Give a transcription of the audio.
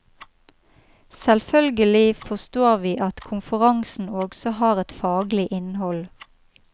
Selvfølgelig forstår vi at konferansen også har hatt et faglig innhold.